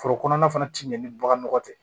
Foro kɔnɔna fana ti ɲɛ ni baganma tɛ